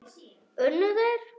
Unnu þeir?